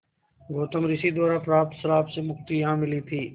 गौतम ऋषि द्वारा प्राप्त श्राप से मुक्ति यहाँ मिली थी